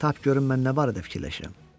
Tap görüm mən nə barədə fikirləşirəm?